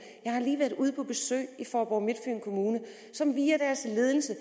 jeg har lige været ude på besøg i faaborg midtfyn kommune som via deres ledelse